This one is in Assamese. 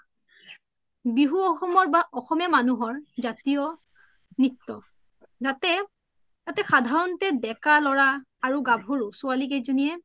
বিহু অস্সমৰ বা অসমীয়া মনুহৰ জাতিয় নিত্য ইয়াতে সাধাৰণতে দেকা লৰা আৰু গাভৰু ছোৱালি কেই যনিয়ে